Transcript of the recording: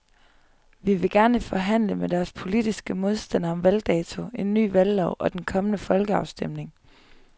De vil gerne forhandle med deres politiske modstandere om valgdato, en ny valglov og den kommende folkeafstemning.